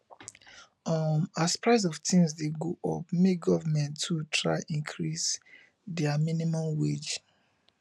um as price of things de go up make government too try increase their minimum wage